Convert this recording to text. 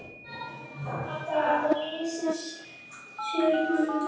Það lýsir honum vel.